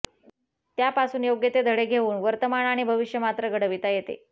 त्यापासून योग्य ते धडे घेऊन वर्तमान आणि भविष्य मात्र घडविता येते